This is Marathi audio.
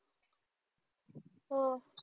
हो